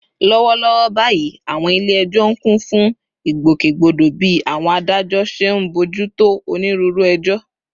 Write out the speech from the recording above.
Lọ́wọ́lọ́wọ́ báyìí, àwọn ilé ẹjọ́ ń kún fún ìgbòkègbodò bí àwọn adájọ́ ṣe ń bójú tó onírúurú ẹjọ́